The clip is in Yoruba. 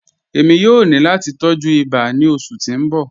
Ẹ̀mi yòó ní láti tọ̀jú ìbà ní ọṣù tí n bọ̀.